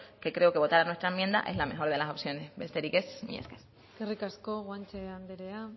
que creo que votar a nuestra enmienda es la mejor de las opciones besterik ez eskerrik asko eskerrik asko guanche anderea